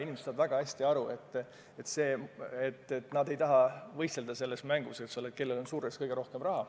Inimesed saavad väga hästi aru, et nad ei taha võistelda selles mängus, kellel on surres kõige rohkem raha.